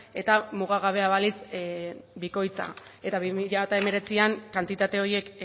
eta mugagabea balitz bikoitza eta bi mila hemeretzian kantitate horiek